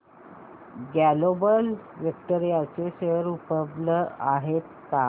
global Vectra चे share उपलब्ध आहेत का